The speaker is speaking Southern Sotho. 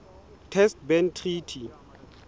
test ban treaty